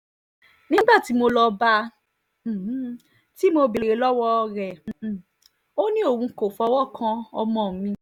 nígbà tí mo lọ́ọ́ bá a um tí mo béèrè lọ́wọ́ rẹ̀ um ò ní òun kò fọwọ́ kan ọmọ mi